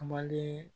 Kumalen